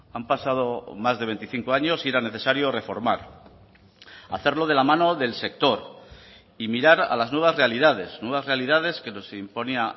han pasado más de veinticinco años y era necesario reformar hacerlo de la mano del sector y mirar a las nuevas realidades nuevas realidades que nos imponía